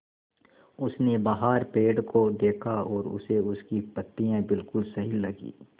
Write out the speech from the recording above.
उसने बाहर पेड़ को देखा और उसे उसकी पत्तियाँ बिलकुल सही लगीं